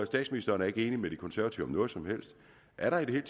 statsministeren er ikke enig med de konservative om noget som helst er der i det hele